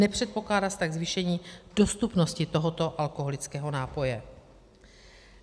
Nepředpokládá se tak zvýšení dostupnosti tohoto alkoholického nápoje.